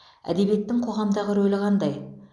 әдебиеттің қоғамдағы рөлі қандай